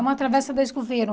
É uma travessa da Escoveiro.